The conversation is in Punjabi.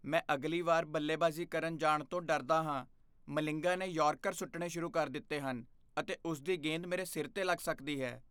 ਮੈਂ ਅਗਲੀ ਵਾਰੀ ਬੱਲੇਬਾਜ਼ੀ ਕਰਨ ਜਾਣ ਤੋਂ ਡਰਦਾ ਹਾਂ। ਮਲਿੰਗਾ ਨੇ ਯਾਰਕਰ ਸੁੱਟਣੇ ਸ਼ੁਰੂ ਕਰ ਦਿੱਤੇ ਹਨ ਅਤੇ ਉਸ ਦੀ ਗੇਂਦ ਮੇਰੇ ਸਿਰ 'ਤੇ ਲੱਗ ਸਕਦੀ ਹੈ।